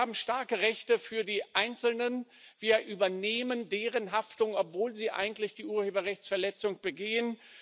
Wir haben starke Rechte für die Einzelnen, wir übernehmen deren Haftung, obwohl sie eigentlich die Urheberrechtsverletzung begehen.